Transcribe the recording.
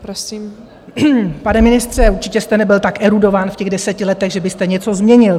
Pane ministře, určitě jste nebyl tak erudovaný v těch deseti letech, že byste něco změnil.